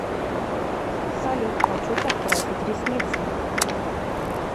салют хочу подкрасить ресницы